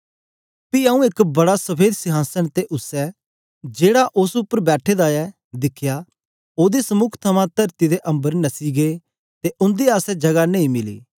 पी आऊँ एक बड़ा सफेद संहासन ते उसै जेड़ा उस्स उपर बैठे दा ऐ दिखया ओदे समुक थमां तरती ते अम्बर नस्सी गै ते उंदे आसतै जगह नेई मिली